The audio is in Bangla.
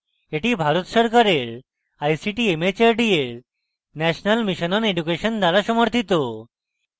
এটি ভারত সরকারের ict mhrd এর national mission on education দ্বারা সমর্থিত